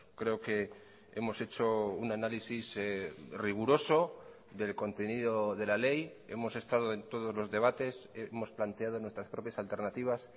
creo que hemos hecho un análisis riguroso del contenido de la ley hemos estado en todos los debates hemos planteado nuestras propias alternativas